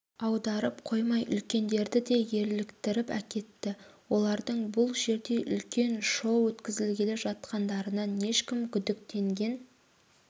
аударып қоймай үлкендерді де еліктіріп әкетті олардың бұл жерде үлкен шоу өткізгелі жатқандарынан ешкім күдіктенген